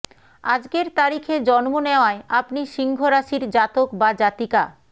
আজকের তারিখে জন্ম নেওয়ায় আপনি সিংহ রাশির জাতক বা জাতিকা